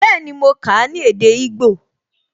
Bẹẹni, mo kà á ní èdè igbó